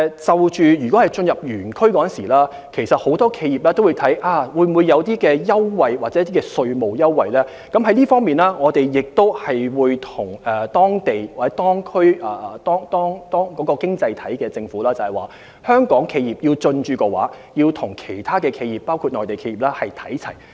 就進駐園區方面，很多企業都會視乎有否提供優惠或稅務優惠，我們會就此向有關經濟體的政府反映，有意進駐的香港企業的所得待遇，希望能與其他企業包括內地企業看齊。